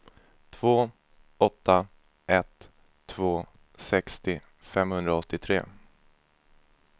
två åtta ett två sextio femhundraåttiotre